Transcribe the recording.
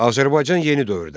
Azərbaycan yeni dövrdə.